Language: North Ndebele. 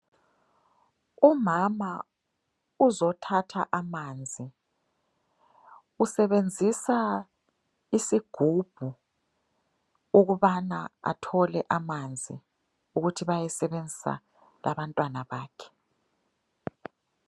Umama uzothatha amanzi. Usebenzisa isigubhu ukubana athole amanzi ukuthi bayesebenzisa labantwana bakhe.